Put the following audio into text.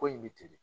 Ko in bɛ ten de